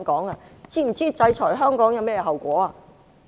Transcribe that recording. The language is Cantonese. "你們是否知道制裁香港有甚麼後果？